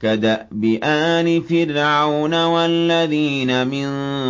كَدَأْبِ آلِ فِرْعَوْنَ ۙ وَالَّذِينَ مِن